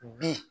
Bi